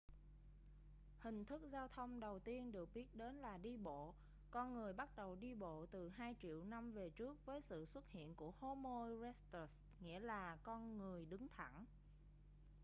hình thức giao thông đầu tiên được biết đến là đi bộ con người bắt đầu đi bộ từ hai triệu năm về trước với sự xuất hiện của homo erectus nghĩa là con người đứng thẳng